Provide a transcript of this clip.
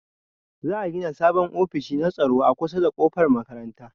Za'a gina sabon ofishi na tsaro a kusa da kofar makaranta